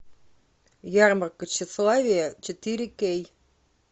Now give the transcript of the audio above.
ярмарка тщеславия четыре кей